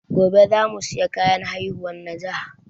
Gobe za mu saya kayan haihuwan najah